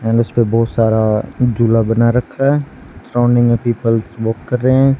And उसपे बहुत सारा झूला बना रखा है सराउंडिंग में पीपल्स वॉक कर रहे हैं।